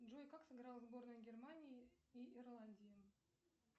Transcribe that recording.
джой как сыграла сборная германии и ирландии